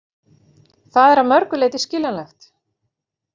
Það er að mörgu leyti skiljanlegt